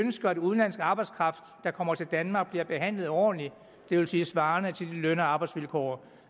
ønsker at udenlandsk arbejdskraft der kommer til danmark bliver behandlet ordentligt det vil sige svarende til de løn og arbejdsvilkår